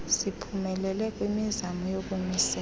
siphumelele kwimizamo yokumisela